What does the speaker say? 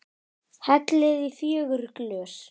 Hellið í fjögur glös.